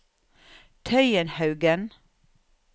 Tøyenhaugen